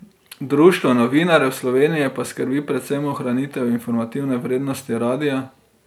Društvo Novinarjev Slovenije pa skrbi predvsem ohranitev informativne vrednosti radia.